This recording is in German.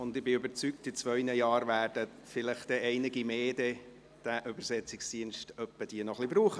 Ich bin überzeugt, in zwei Jahren werden vielleicht noch einige mehr diesen Übersetzungsdienst brauchen.